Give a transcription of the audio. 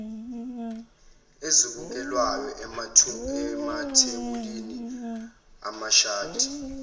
ezibukelwayo amathebuli amashadi